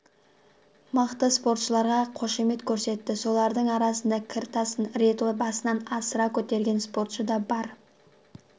мықты спортшыларға қошемет көрсетті солардың арасында кір тасын рет басынан асыра көтерген спортшы да бар